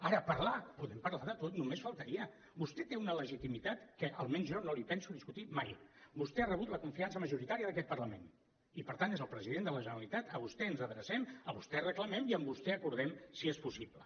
ara parlar podem parlar de tot només faltaria vostè té una legitimitat que almenys jo no li penso discutir mai vostè ha rebut la confiança majoritària d’aquest parlament i per tant és el president de la generalitat a vostè ens adrecem a vostè reclamem i amb vostè acordem si és possible